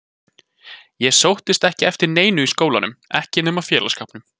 Ég sóttist ekki eftir neinu í skólanum, ekki nema félagsskapnum.